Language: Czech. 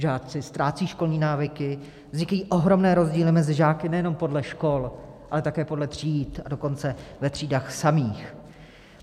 Žáci ztrácejí školní návyky, vznikají ohromné rozdíly mezi žáky nejenom podle škol, ale také podle tříd, a dokonce ve třídách samých.